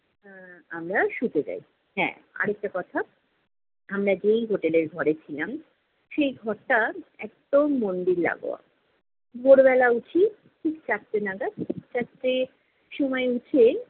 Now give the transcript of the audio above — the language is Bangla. এর আমরা শুতে যাই। হ্যাঁ, আরেকটা কথা আমরা যেই hotel এর ঘরে ছিলাম, সেই ঘরটা একদম মন্দির লাগোয়া। ভোরবেলা উঠি, ঠিক চারটে নাগাদ। চারটের সময় উঠে